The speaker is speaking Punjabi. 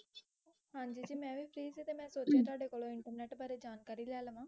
ਹਾਂਜੀ ਜੀ ਮੈ ਵੀ free ਸੀ ਤੇ ਮੈ ਸੋਚਿਆ ਤੁਹਾਡੇ ਕੋਲੋਂ ਇੰਟਰਨੇਟ ਬਾਰੇ ਜਾਣਕਾਰੀ ਲੈ ਲਵਾਂ